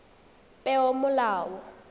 peomolao